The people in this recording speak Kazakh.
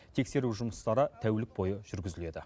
тексеру жұмыстары тәулік бойы жүргізіледі